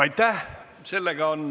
Aitäh!